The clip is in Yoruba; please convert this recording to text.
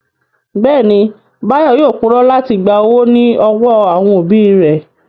Bẹ́ẹ̀ni, Báyọ̀ yóò purọ́ láti gba owó ní ọwọ́ àwọn òbí rẹ̀